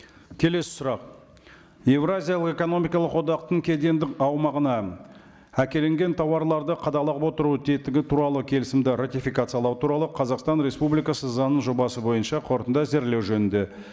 келесі сұрақ еуразиялық экономикалық одақтың кедендік аумағына әкелінген тауарларды отыру тетігі туралы келісімді ратификациялау туралы қазақстан республикасы заңының жобасы бойынша қорытынды әзірлеу жөнінде